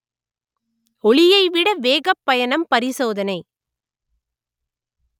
ஒளியை விட வேகப் பயணம் பரிசோதனை